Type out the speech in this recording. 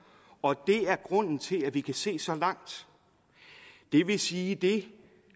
og det er grunden til at vi kan se så langt det vil sige at det